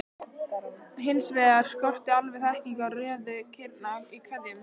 Hins vegar skorti alveg þekkingu á röðun kirna í keðjunum.